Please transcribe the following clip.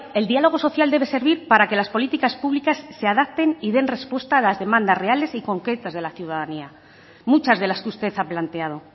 el diálogo social debe servir para que las políticas públicas se adapten y den respuesta a las demandas reales y concretas de la ciudadanía muchas de las que usted ha planteado